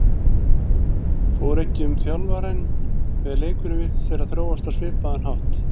Fór ekki um þjálfarann þegar leikurinn virtist vera að þróast á svipaðan hátt?